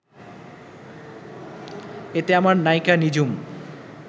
এতে আমার নায়িকা নিঝুম